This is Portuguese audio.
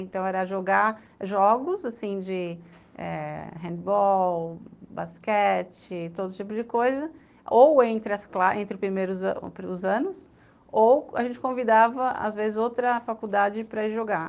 Então, era jogar jogos assim eh de handball, basquete, todo tipo de coisa, ou entre os primeiros anos, ou a gente convidava, às vezes, outra faculdade para ir jogar.